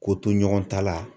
Ko to ɲɔgɔn ta la